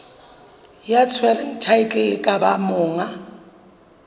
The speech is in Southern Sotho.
ya tshwereng thaetlele kapa monga